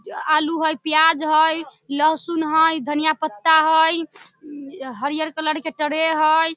आलू हेय प्याज हेय लहसुन हेय धनिया पत्ता हेय उम्म हरियर कलर के ट्रे हेय।